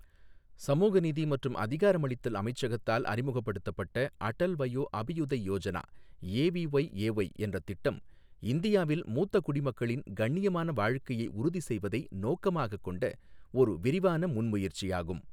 சமூக நீதி மற்றும் அதிகாரமளித்தல் அமைச்சகத்தால் அறிமுகப்படுத்தப்பட்ட அடல் வயோ அபியுதய் யோஜனா ஏவிஒய்ஏஒய் என்ற திட்டம் இந்தியாவில் மூத்த குடிமக்களின் கண்ணியமான வாழ்க்கையை உறுதி செய்வதை நோக்கமாகக் கொண்ட ஒரு விரிவான முன்முயற்சியாகும்.